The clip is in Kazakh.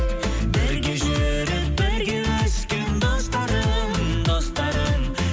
бірге жүріп бірге өскен достарым достарым